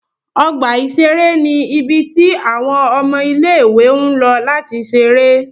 Ọgba iṣere ni ibi ti awọn ọmọ ile-iwe ǹ lọ lati ṣere.